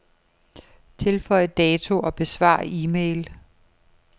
Tilføj dato og besvar e-mail.